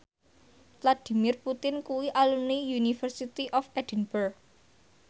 Vladimir Putin kuwi alumni University of Edinburgh